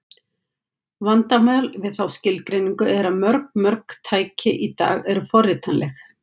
Vandamál við þá skilgreiningu er að mjög mörg tæki í dag eru forritanleg.